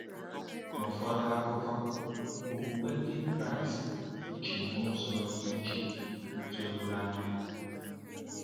N’ụfọdụ akụkụ, Okwukwe Ndị Kraịst dị iche n’ụzọ dị iche n’ụzọ doro anya.